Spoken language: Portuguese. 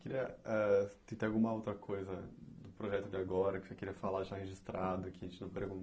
Queria ah tem alguma outra coisa do projeto de agora que você queria falar, deixar registrado, que a gente não